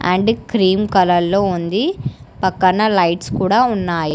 And cream colour లో ఉంది పక్కన లైట్స్ కూడా ఉన్నాయి.